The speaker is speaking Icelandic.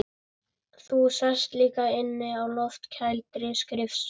Þú sast líka inni á loftkældri skrifstofu